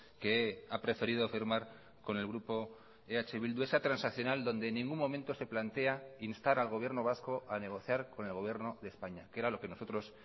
que ha preferido firmar con el grupo eh bildu esa transaccional donde en ningún momento se plantea instar al gobierno vasco a negociar con el gobierno de españa que era lo que nosotros